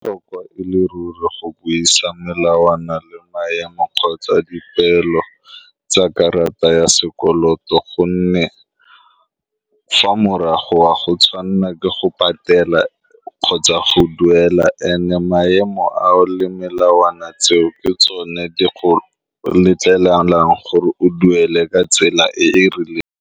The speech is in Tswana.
Go botlhokwa e le ruri go buisa melawana le maemo kgotsa dipoelo tsa karata ya sekoloto, ka gonne fa morago wa go tshwanelwa ke go patela kgotsa go duela. And-e maemo a o le, melawana tseo ke tsone di go letlelelang gore o duele ka tsela e e rileng.